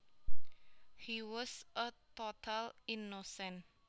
He was a total innocent